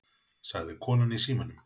sagði konan í símanum.